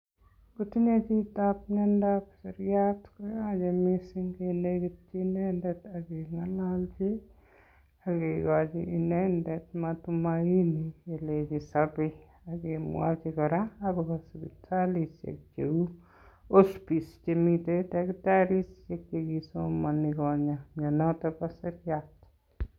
Kotinye chito miondab seriat koyoche mising kenegityi inendet ak keng'ololchi, ak kigochi inendet matumaini kelenji isobe, ak kemwochi kora agobo sipitalisiek cheu Hospice chemiten tagitarisiek che kisomonchi kogany mianoto bo seriat.